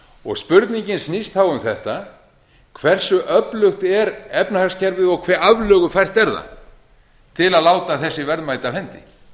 og spurningin nýr þá um þetta hversu öflugt er efnahagskerfið og hve aflögufært er það til að láta þessi verðmæti af